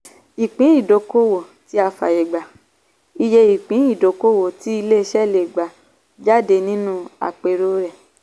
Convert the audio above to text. ìpín-ìdókòwò tí a fààyè gbà - ìye ìpín-ìdókòwò tí ilé-iṣẹ́ lè gbé jáde nínú àpérò rẹ̀.